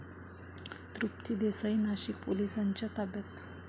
तृप्ती देसाई नाशिक पोलिसांच्या ताब्यात